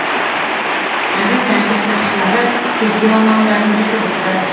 қазір тәртіп сақшылары тергеу амалдарын жүргізіп жатыр